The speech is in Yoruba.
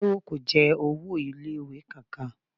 Táyọ̀ kò jẹ owó ilé ìwé kan kan.